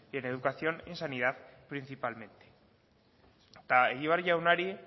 en educación y en sanidad principalmente egibar jaunari